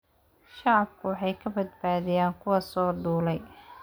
Shacabku waxay ka badbaadiyaan kuwa soo duulay.